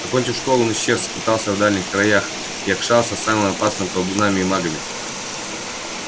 окончив школу он исчез скитался в дальних краях якшался с самыми опасными колдунами и магами